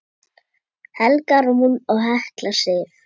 Helga Rún og Hekla Sif.